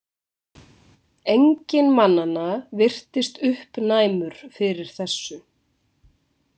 Enginn mannanna virtist uppnæmur fyrir þessu.